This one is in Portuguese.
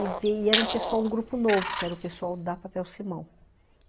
E vei e era um pessoal do grupo novo, que era o pessoal da Papel Simão.